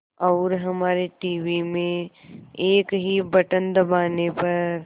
और हमारे टीवी में एक ही बटन दबाने पर